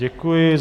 Děkuji.